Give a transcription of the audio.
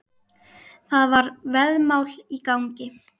Það var veðmál í gangi.